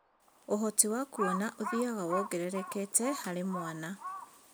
Ũhoti wa kuona ũthiaga wongererekete harĩ mwana